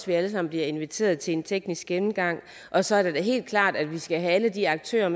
vi alle sammen bliver inviteret til en teknisk gennemgang og så er det da helt klart at vi skal have alle de aktører